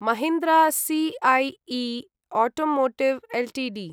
Mahindra CIE automotive Ltd